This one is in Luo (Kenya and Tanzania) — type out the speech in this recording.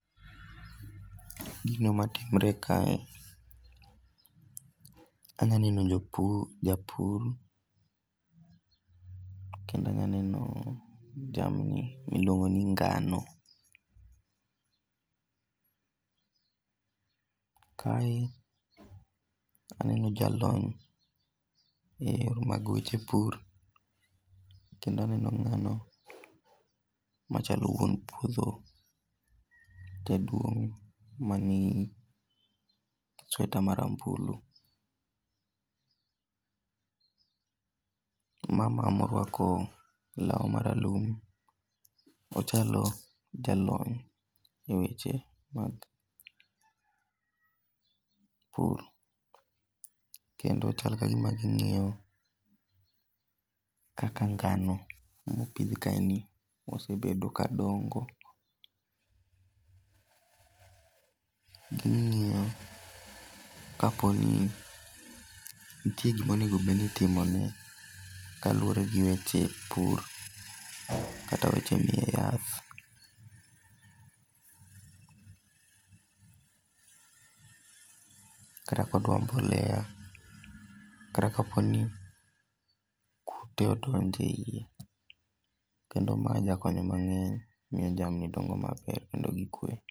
Gino matimore kae, anya neno jopur, japur kendo anya neno jamni miluongo ni ngano. Kae aneno jalony e yore mag weche pur kendo aneno ngano machalo wuon puodho jaduong mani gi sweta marambulu. Mama morwako lau maralum ochalo jalony e weche mag pur kendo chal kagima ging'iyo kaka ngano mopidh kaeni osebedo ka dongo. Ging'iyo kaponi nitie gima bedni itimone kaluore gi weche pur kata weche mii yath, kata kodwa mbolea kata kaponi kute odonje iye kendo ma nya konyo mang'eny miyo jamni dongo maber kendogi kwe